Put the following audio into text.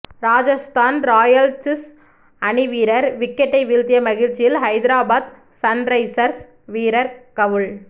Rajasthan Royals அணி வீரர் விக்கெட்டை வீழ்த்திய மகிழ்ச்சியில் ஐதராபாத் சன் ரைசர்ஸ் வீரர் கவுல்